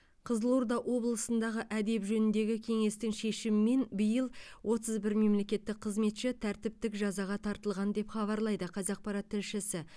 қызылорда облысындағы әдеп жөніндегі кеңестің шешімімен биыл отыз бір мемлекеттік қызметші тәртіптік жазаға тартылған деп хабарлайды қазақпарат тілшісі